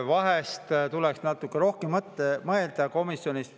Vahest tuleks natuke rohkem mõelda komisjonis.